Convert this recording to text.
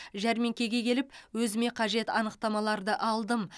жәрмеңкеге келіп өзіме қажет анықтамаларды алдым